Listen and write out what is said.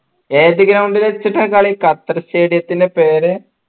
ഏത് ground ൽ വച്ചിട്ട കളി ഖത്തർ stadium ത്തിന്റെ പേര്